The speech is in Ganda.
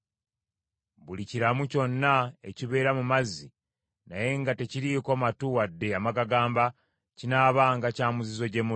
Buli kiramu kyonna ekibeera mu mazzi naye nga tekiriiko matu wadde amagagamba kinaabanga kya muzizo gye muli.